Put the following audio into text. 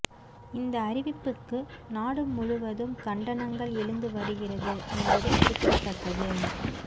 இந்த அறிவிப்புக்கு நாடு முழுவதும் கண்டனங்கள் எழுந்து வருகிறது என்பது குறிப்பிடத்தக்கது